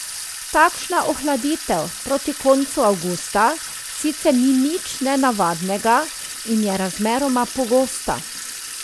Takšna ohladitev proti koncu avgusta sicer ni nič nenavadnega in je razmeroma pogosta.